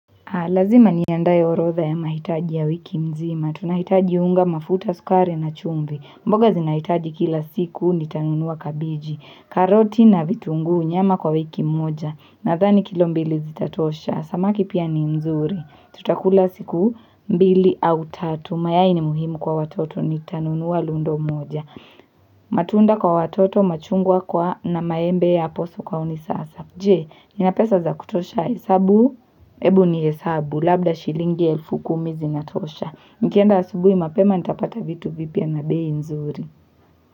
Lazima niandaye orodha ya mahitaji ya wiki mzima. Tunahitaji unga mafuta sukari na chumvi. Mboga zinahitaji kila siku nitanunuwa kabiji. Karoti na vitungu nyama kwa wiki moja. Nathani kilo mbili zitatosha. Samaki pia ni mzuri. Tutakula siku mbili au tatu. Mayai ni muhimu kwa watoto nitanunuwa lundo moja. Matunda kwa watoto machungwa kwa na maembe yapo sokoni sasa. Je, nina pesa za kutosha hesabu, hebu nihesabu, labda shilingi elfu kumi zinatosha. Nikienda asubui mapema, nitapata vitu vipya na bei nzuri.